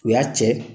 U y'a cɛ